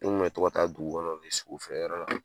N tun bɛ to ka taa dugu kɔnɔ sogo feere yɔrɔ la.